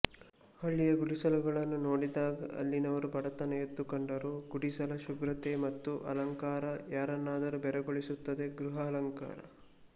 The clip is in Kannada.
ಹಳ್ಳಿಯ ಗುಡಿಸಲುಗಳನ್ನು ನೋಡಿದಾಗ ಅಲ್ಲಿನವರ ಬಡತನ ಎದ್ದು ಕಂಡರೂ ಗುಡಿಸಲ ಶುಭ್ರತೆ ಮತ್ತು ಅಲಂಕಾರ ಯಾರನ್ನಾದರೂ ಬೆರಗುಗೊಳಿಸುತ್ತದೆ ಗೃಹಾಲಂಕರಣ